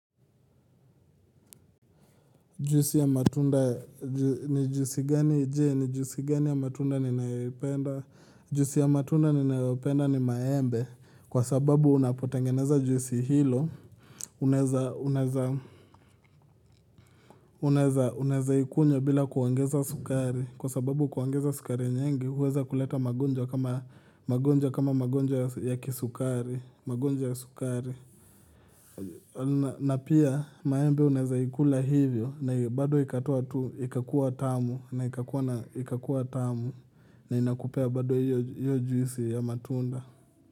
Juisi ya matunda ni juisi gani je ni juisi gani ya matunda ninayoipenda ni maembe Kwa sababu unapotengeneza juisi hilo unaeza ikunywa bila kuongeza sukari Kwa sababu kuongeza sukari nyingi huweza kuleta magonjwa kama magonjwa ya kisukari magonjwa ya sukari na pia maembe unaezaikula hivyo na bado ikakua tu Ikakua tamu na inakupea bado hio juisi ya matunda.